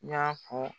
I y'a fɔ